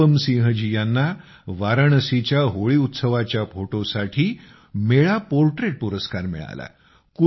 अनुपम सिंह जी यांना वाराणसीच्या होळी उत्सवाच्या फोटोसाठी मेळा पोर्ट्रेट पुरस्कार मिळाला